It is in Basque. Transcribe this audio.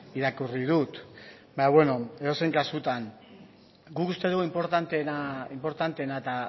irakurri dut baina beno edozein kasutan guk uste dugu inportanteena eta